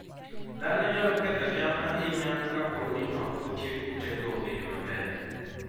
Dhano nyalo ketho cham ahinya kapo ni ok otiek kutego e yo maber.